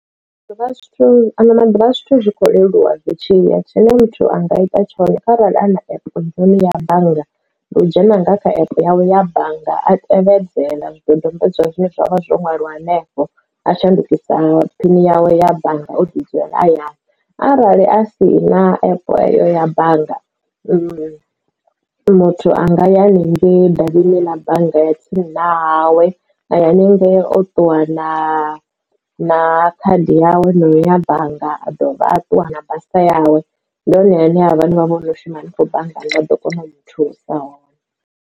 Maḓuvha zwithu ano maḓuvha ha zwithu zwi kho leluwa zwi tshi ya tshine a muthu anga ita tshone arali a na epe ya bannga ndi u dzhena nga kha epe yawe ya bannga a tevhedzela zwidodombedzwa zwine zwavha zwo ṅwaliwa hanefho a shandukisa phini yawe ya bannga o ḓi dzulela hayani arali a si na epe eyo ya bannga mu muthu anga ya hanengei davhini ḽa bannga ya tsini na hawe na ya haningei o ṱuwa na na khadi yawe na uya bannga a dovha a ṱuwa na basa yawe ndi hone hune ha vha vha vho shuma hanengei banngani vha ḓo kona u muthusa.